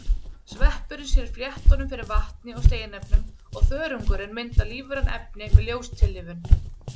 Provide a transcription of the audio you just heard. Sveppurinn sér fléttunum fyrir vatni og steinefnum og þörungurinn myndar lífræn efni með ljóstillífun.